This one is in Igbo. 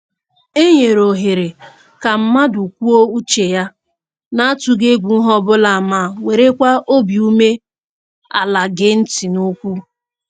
E nyere ohere ka mmadụ kwuo uche ya na-atụghị egwu ihe ọbụla ma werekwa obi ume ala gee ntị n'okwu